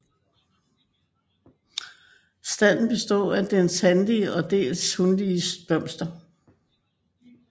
Standen består af dels hanlige og dels hunlige blomster